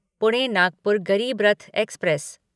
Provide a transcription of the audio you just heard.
Pune Nagpur Garib Rath express